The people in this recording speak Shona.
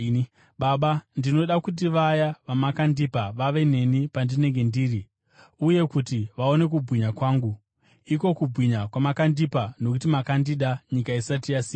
“Baba, ndinoda kuti vaya vamakandipa vave neni pandinenge ndiri, uye kuti vaone kubwinya kwangu, iko kubwinya kwamakandipa nokuti makandida nyika isati yasikwa.